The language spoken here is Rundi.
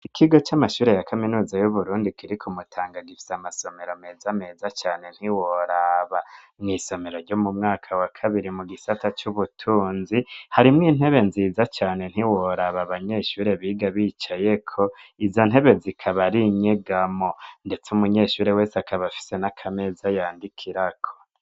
Ikigo c'amashure ya kaminuza y'Uburundi kiri ku Mutanga gifise amasomero meza meza cane ntiworaba. Mw'isomero ryo mu mwaka wa kabiri, mu gisata c'ubutunzi harimwo intebe nziza cane ntiworaba abanyeshure biga bicayeko, izo ntebe zikaba ari inyegamo. Ndetse umunyeshure wese akaba afise n'akameza yandikirako.